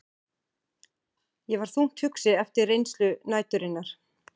Ég var þungt hugsi eftir reynslu næturinnar.